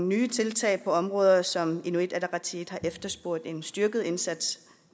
nye tiltag på områder som inuit ataqatigiit har efterspurgt en styrket indsats